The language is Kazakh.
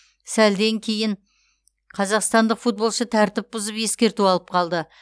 сәлден кейін қазақстандық футболшы тәртіп бұзып ескерту алып қалды